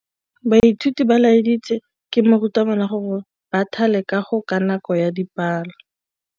Baithuti ba laeditswe ke morutabana gore ba thale kagô ka nako ya dipalô.